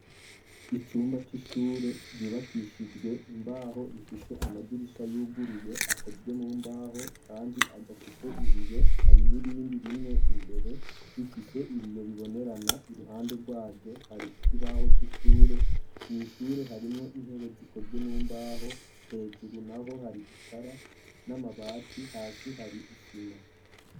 Icumba c'ishure ryubakishijwe imbaho ,rifise amadirisha yuguruye akozwe mu mbaho, kandi adafise ibiyo ,hari nirindi rimwe imbere bifise ibiyo bibonerana, iruhande rwayo hari igibaho c'ishure ,mwishure harimwo intebe zikozwe mu mbaho, hejuru naho hari itara n'amabati, hasi hari isima.